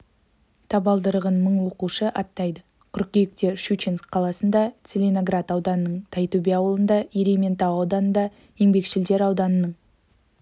табалдырығын мың оқушы аттайды қыркүйекте щучинск қаласында целиноград ауданының тайтөбе ауылында ерейментау ауданында еңбекшілдер ауданының